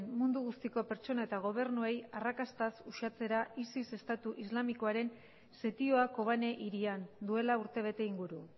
mundu guztiko pertsona eta gobernuei arrakastaz uxatzera isis estatu islamikoaren setioa kobane hirian duela urtebete inguru